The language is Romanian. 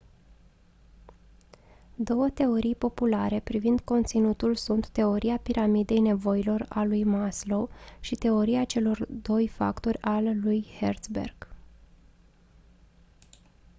două teorii populare privind conținutul sunt teoria piramidei nevoilor a lui maslow și teoria celor doi factori a lui herzberg